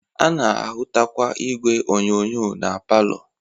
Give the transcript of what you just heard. A na-ahụtakwa igwe onyonyo na palọ